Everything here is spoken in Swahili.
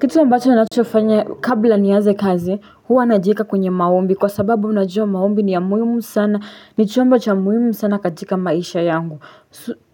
Kitu ambacho unachofanya kabla nianze kazi huwa najiweka kwenye maombi kwa sababu unajua maombi ni ya muhimu sana ni chombo cha muhimu sana katika maisha yangu